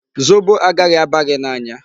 Zobo agaghị aba gị n'anya.